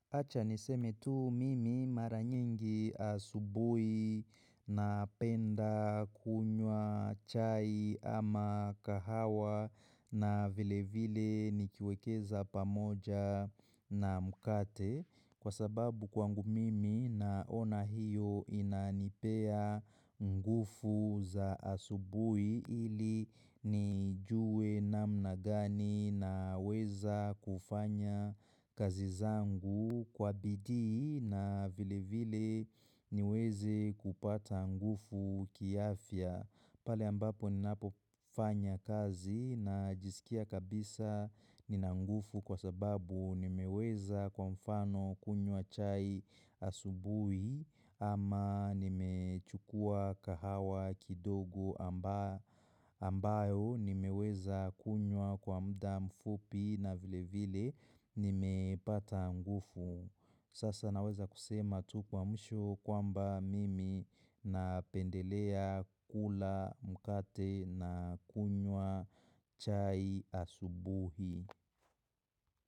Acha niseme tu mimi mara nyingi asubui na penda kunywa chai ama kahawa na vile vile nikiwekeza pamoja na mkate. Kwa sababu kwangu mimi naona hiyo inanipea ngufu za asubui ili nijue namna gani na weza kufanya kazi zangu kwa bidii na vile vile niweze kupata ngufu kiafya. Pale ambapo ninapo fanya kazi na jisikia kabisa ninangufu kwa sababu nimeweza kwa mfano kunywa chai asubui ama nimechukua kahawa kidogo ambayo nimeweza kunywa kwa mda mfupi na vile vile nimepata ngufu. Sasa naweza kusema tu kwa mwisho kwamba mimi napendelea kula mkate na kunywa chai asubuhi.